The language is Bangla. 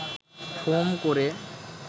ফোম করে